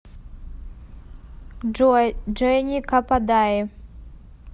джой дженни кападаи